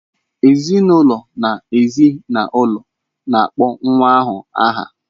Ezinụlọ na ezi na ụlọ na-akpọ nwa ahụ aha.